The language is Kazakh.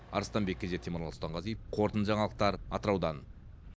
арыстанбек кенже темірлан сұлтанғазиев қорытынды жаңалықтар атыраудан